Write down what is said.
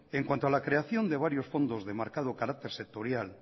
en cuanto a la creación de varios fondos de marcado carácter sectorial